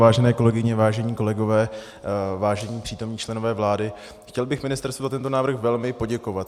Vážené kolegyně, vážení kolegové, vážení přítomní členové vlády, chtěl bych ministerstvu za tento návrh velmi poděkovat.